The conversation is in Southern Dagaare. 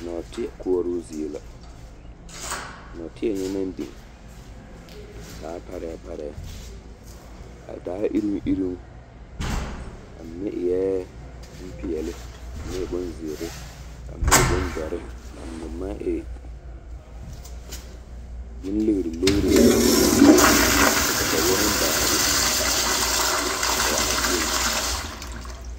Nɔɔteɛ koɔroo zie la a nɔɔteɛ nyɛ naŋ biŋ a taa parɛɛparɛɛ a taa iroŋiroŋ a mine eɛ bompeɛle ka a mine e bonziiri ka a mine e bondɔre ka a mine maŋe bonleɡreleɡre ka kataweɛ meŋ ba a be a pɔɡe a nɔɔteɛ mine.